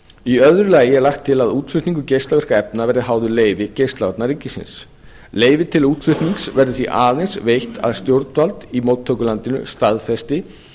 í að lagi er lagt til að útflutningur geislavirkra efna verði háður leyfi geislavarna ríkisins leyfi til útflutnings verður því aðeins veitt að stjórnvald í móttökulandinu staðfesti